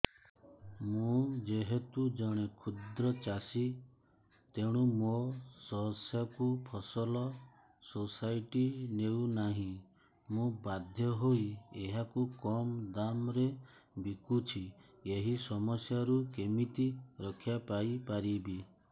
ମୁଁ ଯେହେତୁ ଜଣେ କ୍ଷୁଦ୍ର ଚାଷୀ ତେଣୁ ମୋ ଶସ୍ୟକୁ ଫସଲ ସୋସାଇଟି ନେଉ ନାହିଁ ମୁ ବାଧ୍ୟ ହୋଇ ଏହାକୁ କମ୍ ଦାମ୍ ରେ ବିକୁଛି ଏହି ସମସ୍ୟାରୁ କେମିତି ରକ୍ଷାପାଇ ପାରିବି